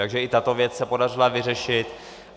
Takže i tato věc se podařila vyřešit.